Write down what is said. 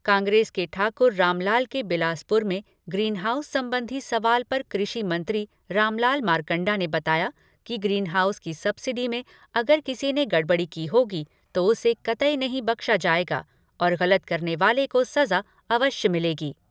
कांग्रेस के ठाकुर रामलाल के बिलासपुर में ग्रीनहाउस संबंधी सवाल पर कृषि मंत्री रामलाल मारकंडा ने बताया कि ग्रीनहाउस की सब्सिडी में अगर किसी ने गड़बड़ी की होगी तो उसे कतई नहीं बख्शा जाएगा और गलत करने वाले को सजा अवश्य मिलेगी।